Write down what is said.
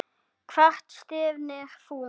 Hvert stefnir þú?